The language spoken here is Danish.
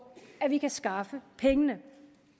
at vi kan skaffe pengene